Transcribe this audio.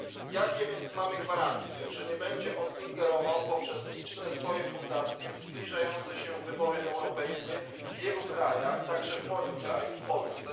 Jakie więc mamy gwarancje, że nie będzie on ingerował za pośrednictwem swoich licznych fundacji w zbliżające się wybory europejskie w wielu krajach, także w moim kraju w Polsce?